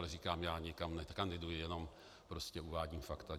Ale říkám, já nikam nekandiduji, jenom prostě uvádím fakta.